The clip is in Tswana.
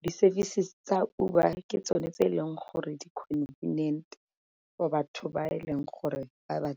di-services tsa Uber ke tsone tse e leng gore di-convenient for batho ba e leng gore ba ba .